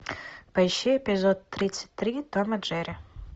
поищи эпизод тридцать три том и джерри